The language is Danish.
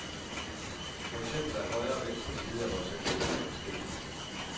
For eksempel er højre og venstre side af vores ansigter forskellige.